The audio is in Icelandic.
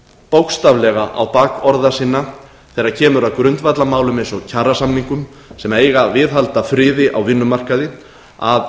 bókstaflega á bak orða sinna þegar kemur að grundvallarmálum eins og kjarasamningum sem eiga að viðhalda friði á vinnumarkaði að